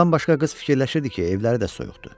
Bundan başqa qız fikirləşirdi ki, evləri də soyuqdur.